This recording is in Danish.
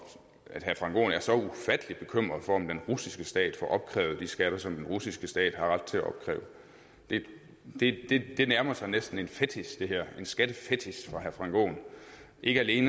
frank aaen er så ufattelig bekymret for om den russiske stat får opkrævet de skatter som den russiske stat har ret til at opkræve det det her nærmer sig næsten en fetich en skattefetich for herre frank aaen ikke alene